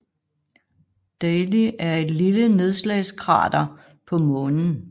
Daly er et lille nedslagskrater på Månen